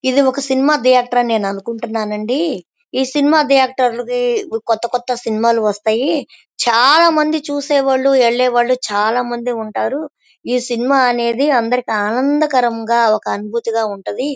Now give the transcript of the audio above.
ఇది ఒక cinema theatre అని నేను అనుకుంటున్నాను అండి. ఈ సినిమా ధియేటర్ లో కొత్త కొత్త సినిమా లు వస్తాయి. చాల మంది చూసేవాళ్ళు వెళ్ళే వాళ్ళు చాల మంది వుంటారు. ఈ సినిమా అనేది అందరికి ఆనందకరంగా ఒక అనుభూతిగా ఉంటది.